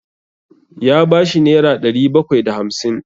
Ya ba shi nera ɗari bakwai da hamsin.